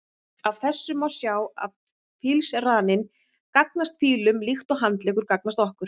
Af þessu má sjá að fílsraninn gagnast fílum líkt og handleggur gagnast okkur.